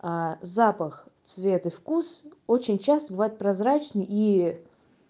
запах цвет и вкус очень часто бывает прозрачный и